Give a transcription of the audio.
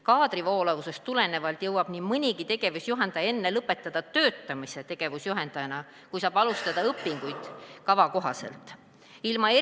Kaadri voolavusest tulenevalt jõuab nii mõnigi tegevusjuhendaja enne lõpetada töötamise tegevusjuhendajana, kui saab alustada õpinguid kava kohasel koolitusel.